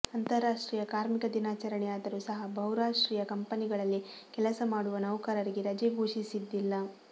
ಅಂತಾರಾಷ್ಟ್ರೀಯ ಕಾರ್ಮಿಕ ದಿನಾಚರಣೆಯಾದರೂ ಸಹ ಬಹುರಾಷ್ಟ್ರೀಯ ಕಂಪನಿಗಳಲ್ಲಿ ಕೆಲಸ ಮಾಡುವ ನೌಕರರಿಗೆ ರಜೆ ಘೋಷಿಸಿದ್ದಿಲ್ಲ